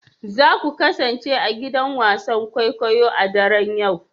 Za ku kasance a gidan wasan kwaikwayo a daren yau